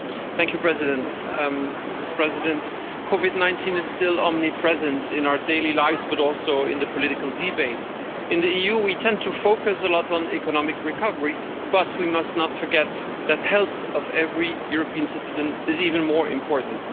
Mr President, Covid-19 is still omnipresent in our daily lives, but also in the political debates. In the EU, we tend to focus a lot on economic recovery, but we must not forget that the health of every European citizen is even more important.